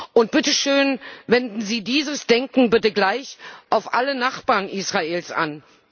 Und bitte schön Wenden Sie dieses Denken bitte gleichermaßen auf alle Nachbarn Israels an.